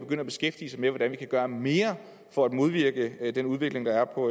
at beskæftige sig med hvordan vi kan gøre mere for at modvirke den udvikling der er på